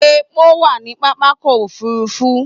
Epo wà ní pápákọ̀ òfúrúfú.